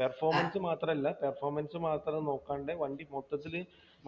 perfomance മാത്രമല്ല performance മാത്രം നോക്കാണ്ട് വണ്ടി മൊത്തത്തിൽ